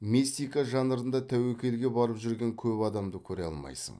мистика жанрында тәуекелге барып жүрген көп адамды көре алмайсың